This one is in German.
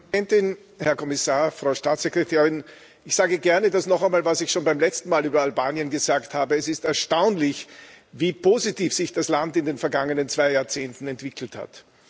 Frau Präsidentin, Herr Kommissar, Frau Staatssekretärin! Ich sage das gerne noch einmal, was ich schon beim letzten Mal über Albanien gesagt habe Es ist erstaunlich, wie positiv sich das Land in den vergangenen zwei Jahrzehnten entwickelt hat.